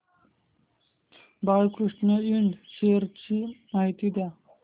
Balkrishna Ind shares ची माहिती द्या